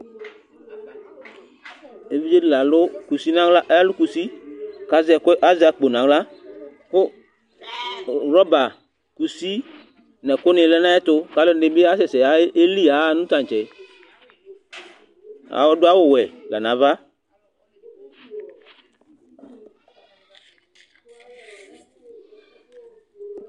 évidze di lalũ kussi nahla alukussi kazɛkũ azakpo nahla kũ rɔba kussi nɛkũ nilɛ nayɛtũ kaluɛdini bi asɛsɛ éliyiaha nũ tantsɛ adũaʊ wũɛ la nava